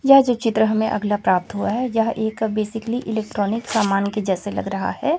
यह जो चित्र हमें अगला प्राप्त हुआ है यह एक बेसिकली इलेक्ट्रॉनिक समान के जैसे लग रहा हैं।